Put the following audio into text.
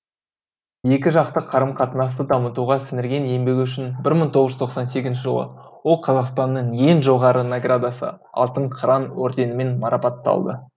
екі жақты қарым қатынасты дамытуға сіңірген еңбегі үшін бір мың тоғыз жүз тоқсан сегізінші жылы ол қазақстанның ең жоғары наградасы алтын қыран орденімен марапатталды